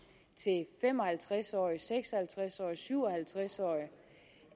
til fem og halvtreds årige seks og halvtreds årige syv og halvtreds årige